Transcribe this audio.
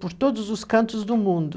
por todos os cantos do mundo.